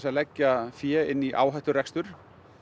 að leggja fé inn í áhætturekstur